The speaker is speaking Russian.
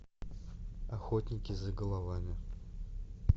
охотники за головами